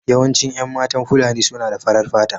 Yawancin 'yan matan Fulani suna da farar fata.